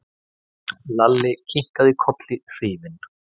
Lalli kinkaði kolli hrifinn.